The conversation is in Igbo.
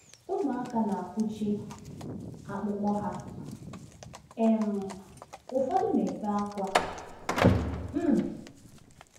Ụmụaka na-akụchi akpụkpọ ha, um ụfọdụ na-ebe ákwá. um